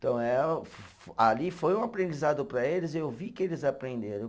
Então eh o, ali foi um aprendizado para eles e eu vi que eles aprenderam.